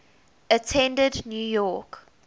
attended new york